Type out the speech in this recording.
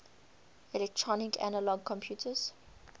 electronic analog computers